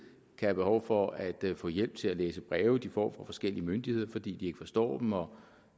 kan have behov for at få hjælp til at læse breve de får fra forskellige myndigheder fordi de ikke forstår dem og